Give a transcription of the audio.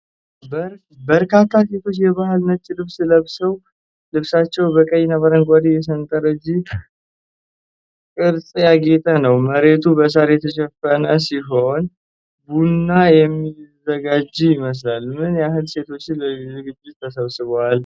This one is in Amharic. በርካታ ሴቶች የባህል ነጭ ልብስ ለብሰዋል። ልብሳቸው በቀይና አረንጓዴ የሠንጠረዥ ቅርፅ ያጌጠ ነው። መሬቱ በሣር የተሸፈነ ሲሆን ቡና የሚዘጋጅ ይመስላል። ምን ያህል ሴቶች ለዝግጅቱ ተሰብስበዋል?